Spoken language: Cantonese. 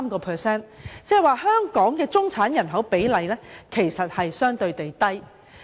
換言之，香港的中產人口比例相對較低。